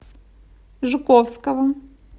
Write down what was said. жуковского